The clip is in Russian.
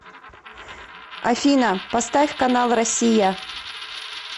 афина поставь канал россия